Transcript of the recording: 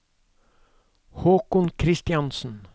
Håkon Christiansen